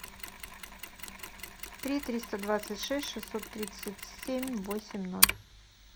три триста двадцать шесть шестьсот тридцать семь восемь ноль